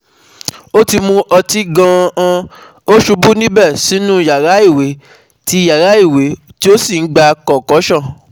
Ó ti mu òtí gan-an, ó ṣubú níbẹ̀ sínú yàrá ìwẹ̀ tí yàrá ìwẹ̀ tí ó sì gbà concussion